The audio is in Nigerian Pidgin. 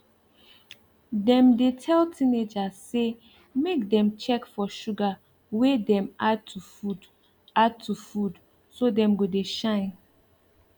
dem dey tell teenagers say make dem check for sugar wey dem add to food add to food so dem go dey shine